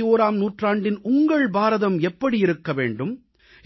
21ஆம் நூற்றாண்டின் உங்கள் பாரதம் எப்படி இருக்க வேண்டும்